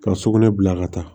Ka sugunɛ bila ka taa